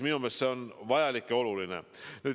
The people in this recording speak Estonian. Minu meelest see on vajalik ja oluline.